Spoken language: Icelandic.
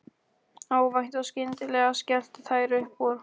Óvænt og skyndilega skelltu þær upp úr.